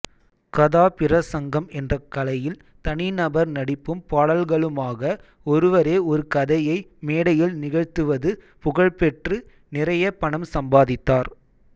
கதாபிரஸங்கம் என்ற கலையில் தனிநபர் நடிப்பும் பாடல்களுமாக ஒருவரே ஒரு கதையை மேடையில் நிகழ்த்துவதுபுகழ்பெற்று நிறைய பணம் சம்பாதித்தார்